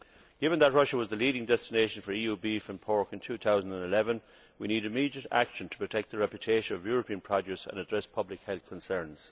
Given that Russia was the leading destination for EU beef and pork in 2011, we need immediate action to protect the reputation of European produce and address public health concerns.